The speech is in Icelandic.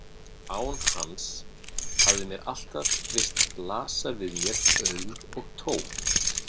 Án hans hafði mér alltaf virst blasa við mér auðn og tóm.